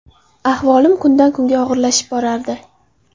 Ahvolim kundan kunga og‘irlashib borardi.